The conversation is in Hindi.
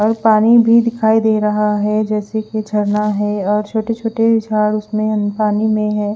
और पानी भी दिखाई दे रहा है जेसे की झरना है और छोटे छोटे जार उसमे पाणी में है।